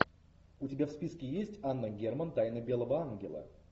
у тебя в списке есть анна герман тайна белого ангела